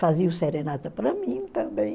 Faziam serenata para mim também.